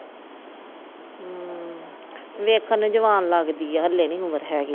ਹਮ ਵੇਖਣ ਨੂੰ ਜਵਾਨ ਲੱਗ ਦੀ ਆ ਹਲੇ ਨਹੀਂ ਉਮਰ ਹੇਗੀ।